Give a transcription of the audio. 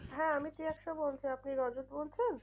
হ্যাঁ আমি তৃয়াক্সা বলছি আপনি রজত বলছেন?